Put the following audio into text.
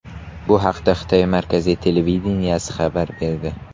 Bu haqda Xitoy markaziy televideniyesi xabar berdi .